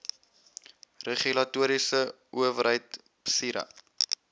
regulatoriese owerheid psira